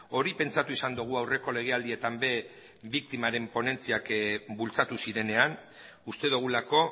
hori pentsatu izan dugu aurreko legealdietan ere biktimaren ponentziak bultzatu zirenean uste dugulako